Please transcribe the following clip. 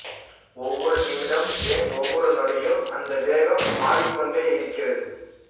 ஒவ்வொரு நிமிடமும் ஏன் ஒவ்வொரு நொடியும் அந்த வேகம் மாறிக்கொண்டேயிருக்கிறது